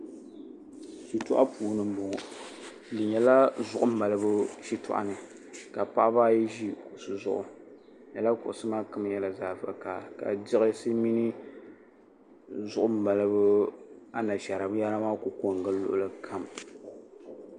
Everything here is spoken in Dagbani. shitɔɣu puuni m-bɔŋɔ di nyɛla zuɣu maalibu shitɔɣu ni ka paɣiba ayi ʒi kuɣisi zuɣu lala kuɣisi maa kam nyɛla zaɣ' vakahili ka di diɣsi mini zuɣu maalibu anashaara binyɛra maa kuli ko n-gili luɣili kam